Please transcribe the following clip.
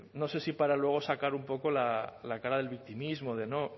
no sé si para luego sacar un poco la cara del victimismo de no